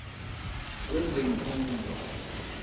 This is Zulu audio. wezemfundo